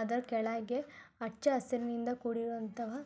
ಅದರ ಕೆಳಗೆ ಹಚ್ಚ ಹಸಿರಿನಿಂದ ಕೂಡಿರುವಂತಹ --